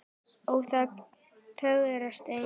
ó þá fögru steina